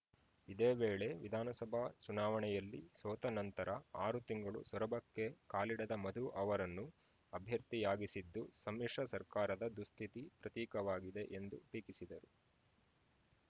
ಇದೇವೇಳೆ ವಿಧಾನಸಭಾ ಚುನಾವಣೆಯಲ್ಲಿ ಸೋತ ನಂತರ ಆರು ತಿಂಗಳು ಸೊರಬಕ್ಕೆ ಕಾಲಿಡದ ಮಧು ಅವರನ್ನು ಅಭ್ಯರ್ಥಿಯಾಗಿಸಿದ್ದು ಸಮ್ಮಿಶ್ರ ಸರ್ಕಾರದ ದುಸ್ಥಿತಿ ಪ್ರತೀಕವಾಗಿದೆ ಎಂದು ಟೀಕಿಸಿದರು